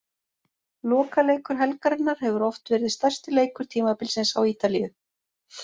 Lokaleikur helgarinnar hefur oft verið stærsti leikur tímabilsins á Ítalíu.